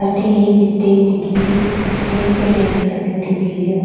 अठे एक स्टेज दिख री स्टेज पे टेंट लगो दिख रो।